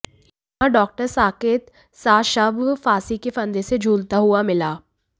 यहां डॉक्टर साकेत सा शव फांसी के फंदे से झूलता हुआ मिला